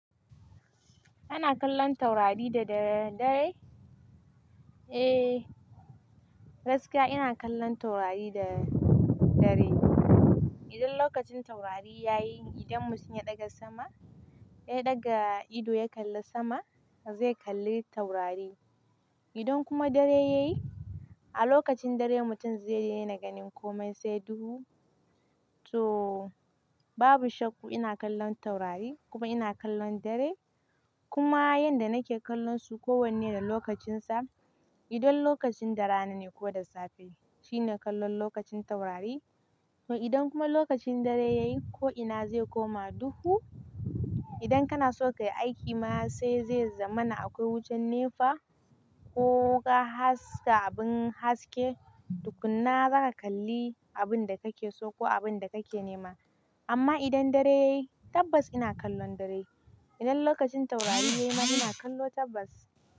Ana kallon taurari da dare dai? Eh, gaskiya ina kallon taurari da dare. Idan lokacin taurari ya yi, idan mutum ya ɗaga sama, ya ɗaga ido ya kalli sama, zai kalli taurari. Idan kuma dare yayi, a lokacin dare mutum zai daina ganin komai sai duhu. To babu shakka ina kallon taurari kuma ina kallon dare. Kuma yanda nake kallonsu kowanne da lokacinsa. Idan lokacin rana ne ko da safe, shine kallon lokacin taurari. Idan kuma lokacin dare yayi, ko ina zai koma duhu. Idan kana so ka yi aiki ma sai zai zama na akwai wucin nefa ko ka haska abin haske, tukunna za ka kalli abin da kake so, ko abin da kake nema. Amma idan dare yayi tabbas ina kallon dare. Idan lokacin taurari ne ma ina kallo tabbas.